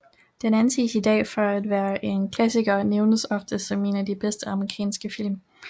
Den anses i dag for at være en klassiker og nævnes ofte som en af de bedste amerikanske film